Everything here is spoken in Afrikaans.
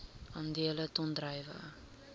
aandele ton druiwe